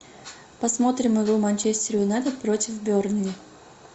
посмотрим игру манчестер юнайтед против бернли